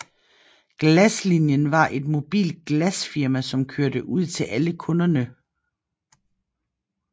Glaslinien var et mobilt glasfirma som kørte ud til alle kunderne